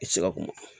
I tɛ se ka kuma